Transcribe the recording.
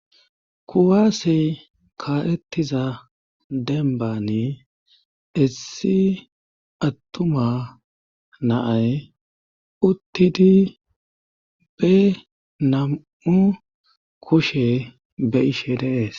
kuwaasey kaaettiza dembani issi attuma na'ay uttidi be nam7u kushe be'ishe de'ees